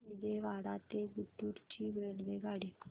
विजयवाडा ते गुंटूर ची रेल्वेगाडी